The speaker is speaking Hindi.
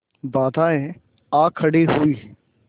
बाधाऍं आ खड़ी हुई